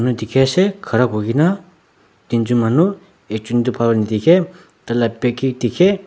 dikhiase khara kurna teenjon manu ekjon tu bhal pa nadikhae taila back he dikhae.